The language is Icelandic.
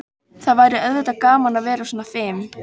Það væri auðvitað gaman að vera svona fim.